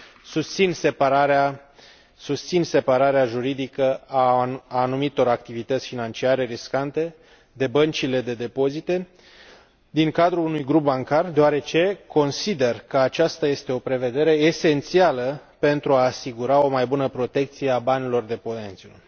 Susțin separarea juridică a anumitor activități financiare riscante de băncile de depozite din cadrul unui grup bancar deoarece consider că aceasta este o prevedere esențială pentru a asigura o mai bună protecție a banilor deponenților.